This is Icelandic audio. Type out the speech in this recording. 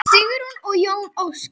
Sigrún og Jón Óskar.